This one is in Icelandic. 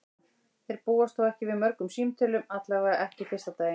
Þeir búast þó ekki við mörgum símtölum, allavega ekki fyrsta daginn.